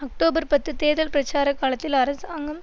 October பத்து தேர்தல் பிரச்சார காலத்தில் அரசாங்கம்